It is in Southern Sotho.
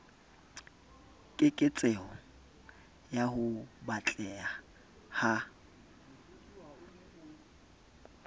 keketseho ya ho batleha ha